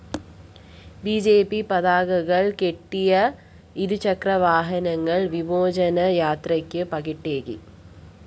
B J P പതാകകള്‍ കെട്ടിയ ഇരുചക്രവാഹനങ്ങള്‍ വിമോചന യാത്രയ്ക്ക് പകിട്ടേകി